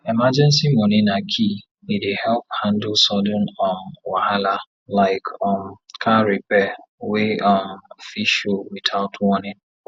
emergency money na key e dey help handle sudden um wahala like um car repair wey um fit show without warning